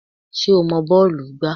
Ṣé o mọ bọ́ọ̀lù gbá?